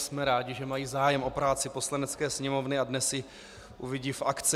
Jsme rádi, že mají zájem o práci Poslanecké sněmovny, a dnes ji uvidí v akci.